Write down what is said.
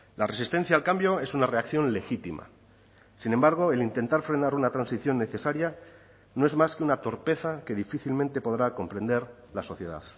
la resistencia al cambio es una reacción legítima sin embargo el intentar frenar una transición necesaria no es más que una torpeza que difícilmente podrá comprender la sociedad